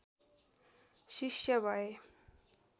शिष्य भए